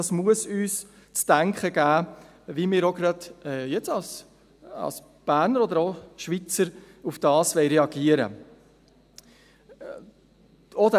Dies muss uns zu denken geben, dahingehend, wie wir jetzt als Berner oder als Schweizer darauf reagieren wollen.